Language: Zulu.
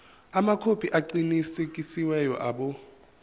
amakhophi aqinisekisiwe abo